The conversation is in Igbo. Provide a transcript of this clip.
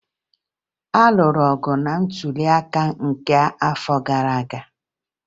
A lụrụ ọgụ na ntụliaka nke afọ gara aga